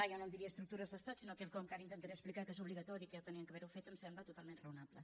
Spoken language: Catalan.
jo no en diria estructures d’estat sinó quelcom que ara intentaré explicar que és obligatori que ja ho havien d’haver fet em sembla totalment raonable